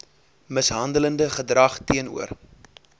mishandelende gedrag teenoor